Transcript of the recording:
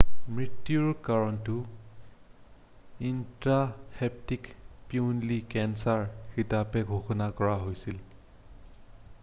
মৃত্যুৰ কাৰণটো ইনট্ৰাহেপ্টিক পিত্তনলী কেঞ্চাৰ হিচাপে ঘোষণা কৰা হৈছিল৷